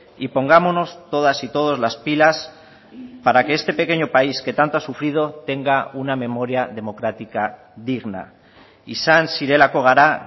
y pongámonos todas y todos las pilas para que este pequeño país que tanto ha sufrido tenga una memoria democrática digna izan zirelako gara